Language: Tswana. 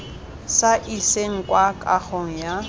sa iseng kwa kagong ya